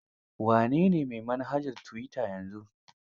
Wa ne ne mai manhajar tuwita yanzu?